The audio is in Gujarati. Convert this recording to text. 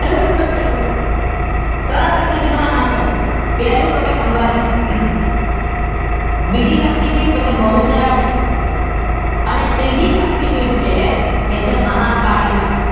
ત્રણ શક્તીપીઠોના નામ કહીએ. પહેલું અંબાજી, બીજી શક્તીપીઠ બહુચરાજી અને ત્રીજી શક્તીપીઠ છે એ મહા કાળી માં